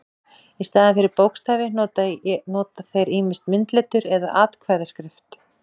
Í staðinn fyrir bókstafi nota þeir ýmist myndletur eða atkvæðaskrift.